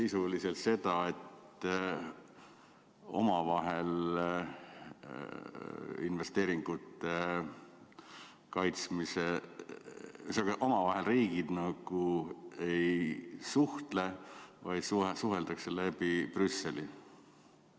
Kas see tähendab sisuliselt seda, et omavahel riigid nagu ei suhtle, vaid suheldakse läbi Brüsseli?